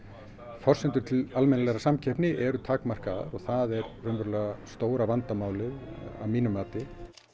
forsendur til almennilegrar samkeppni eru takmarkaðar það er raunverulega stóra vandamálið að mínu mati